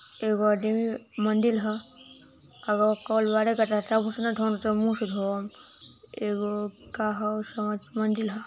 एगो आदमी मंदिर ह अरु मुँह से धोअम एगो का ह समझ मंदिर ह।